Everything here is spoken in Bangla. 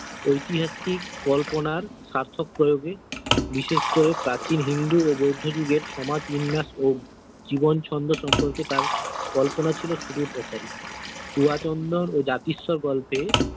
ঐতিহাসিক কল্পনার সার্থক প্রয়োগে বিশেষ করে প্রাচীন হিন্দি ও বৌদ্ধ যুগের সমাজ বিন্যাস ও জীবন ছন্দ সম্পর্কে তাঁর কল্পনা ছিল সুদূর প্রসারী ও জাতিস্বর গল্পে।